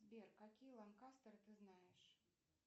сбер какие ланкастеры ты знаешь